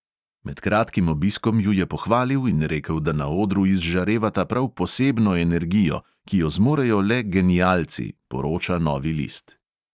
Med kratkim obiskom ju je pohvalil in rekel, da na odru izžarevata prav posebno energijo, ki jo zmorejo le genialci, poroča novi list.